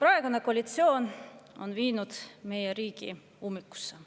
Praegune koalitsioon on viinud meie riigi ummikusse.